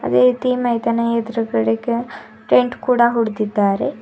ವೇತಿ ಮೈದನ ಎದುರುಗಡೆಗೆ ಟೆಂಟ್ ಕೂಡ ಹೊಡೆದಿದ್ದಾರೆ.